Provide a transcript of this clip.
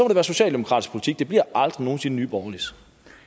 det være socialdemokratisk politik det bliver aldrig nogen sinde nye borgerliges